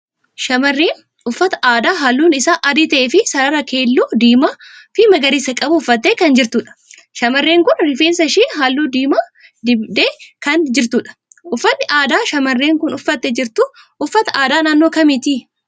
Shamarreen uffata aadaa halluun isaa adii ta'ee fi sarara keelloo, diimaa fi magariisa qabu uffattee kan jirtudha. Shamarreen kun rifeensa ishee halluu diimaa dibee kan jirtudha. Uffanni aadaa shamarreen kun uffattee jirtu uffata aadaa naannoo kamiiti?